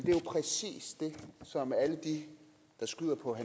som alle de der skyder på